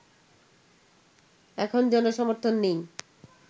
এখন জনসমর্থন নেই